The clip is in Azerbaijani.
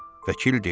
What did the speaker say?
Vəkil dedi: